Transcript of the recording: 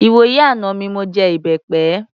Ìwòyí àná mi mọ jẹ ìbẹpẹ.